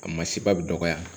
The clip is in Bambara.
A ma se ba bɛ dɔgɔya